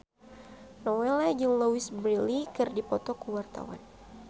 Nowela jeung Louise Brealey keur dipoto ku wartawan